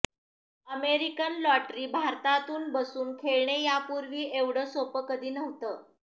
American lottery भारतातून बसून खेळणे यापूर्वी एवढं सोपं कधी नव्हतं